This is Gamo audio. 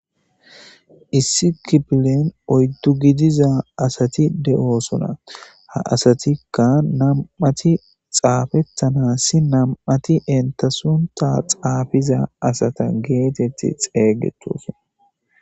Issi kipilen oyddu gidiza asati de'oosuna ha asatikka nam'ati xaafettanassi nam'ati entasunta xaafiza asata geetetti xeeygettosona.